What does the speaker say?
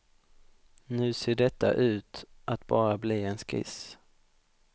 Nu ser detta ut att bara bli en skiss.